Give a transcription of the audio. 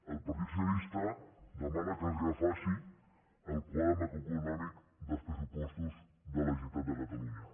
el partit socialista demana que es refaci el quadre macroeconòmic dels pressupostos de la generalitat de catalunya